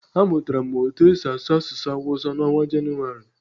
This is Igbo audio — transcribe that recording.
A mụtara m etu e si asụ asụsụ hawusa n'ọnwa Janụwarị.